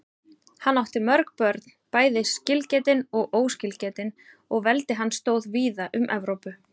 Hann átti mörg börn, bæði skilgetin og óskilgetin, og veldi hans stóð víða um Evrópu.